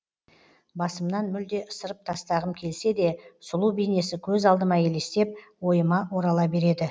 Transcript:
басымнан мүлде ысырып тастағым келсе де сұлу бейнесі көз алдыма елестеп ойыма орала береді